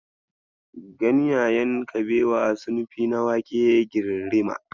Ganyayen kabewa sun fi na wake girirrima.